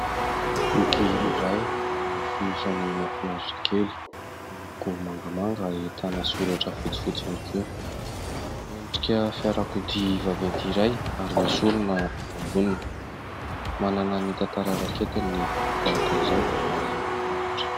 Boky iray amin'ny fonosany mahafinaritra kely, miloko mangamanga, ahitana soratra fotsifotsy ihany koa ,endrika fiarakodia vaventy iray ary misy olona eo amboniny, manana ny tantara raketiny ny boky tahaka izao ary mahafinaritra.